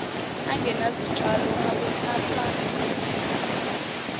angenazitshalo akuthathwa njengenqubo